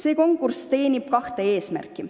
Ettevõtmine teenib kahte eesmärki.